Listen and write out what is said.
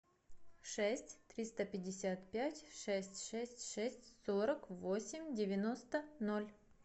шесть триста пятьдесят пять шесть шесть шесть сорок восемь девяносто ноль